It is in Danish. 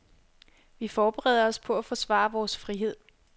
Vi forbereder os på at forsvare vores frihed.